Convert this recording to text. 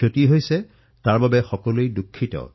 যি লোকচান হৈছে তাৰবাবে আমি সকলোৱে দুঃখিত